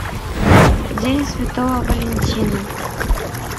день святого валентина